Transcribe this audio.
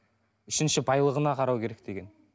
үшінші байлығына қарау керек деген